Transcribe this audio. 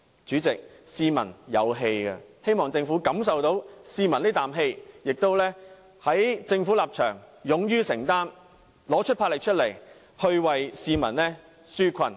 主席，市民有怨氣，希望政府能感受得到，並勇於承擔，拿出魄力為市民紓困。